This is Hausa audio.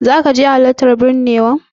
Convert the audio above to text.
Zaka je halartan binnewa din?